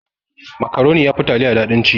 Makaroni yafi taliya daɗin ci.